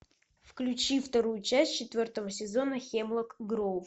включи вторую часть четвертого сезона хемлок гроув